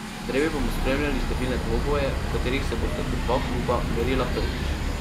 Drevi bomo spremljali številne dvoboje, v katerih se bosta po dva kluba merila prvič.